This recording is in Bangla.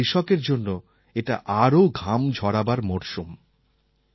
কিন্তু কৃষকের জন্য এটা আরও ঘাম ঝরাবার মরশুম